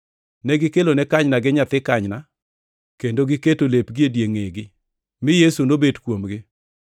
Negikelone kanyna gi nyathi kanyna, kendo negiketo lepgi e ngʼegi, mi Yesu nobet kuomgi.